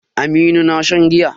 Aminu na shan giya.